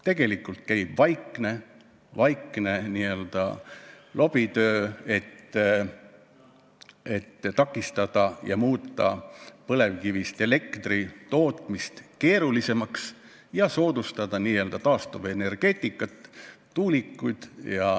Tegelikult käib vaikne lobitöö, et takistada põlevkivist elektri tootmist, muuta seda keerulisemaks ja soodustada n-ö taastuvenergeetikat ja tuulikuid.